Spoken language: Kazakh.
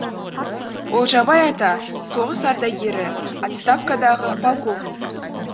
олжабай ата соғыс ардагері отставкадағы полковник